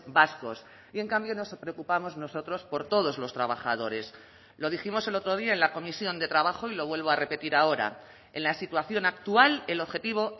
vascos y en cambio nos preocupamos nosotros por todos los trabajadores lo dijimos el otro día en la comisión de trabajo y lo vuelvo a repetir ahora en la situación actual el objetivo